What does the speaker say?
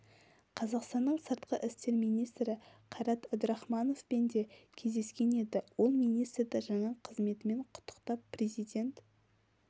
қазақстанның сыртқы істер министрі қайрат әбдірахмановпен де кездескен еді ол министрді жаңа қызметімен құттықтап президент